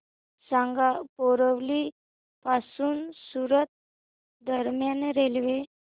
सांगा बोरिवली पासून सूरत दरम्यान रेल्वे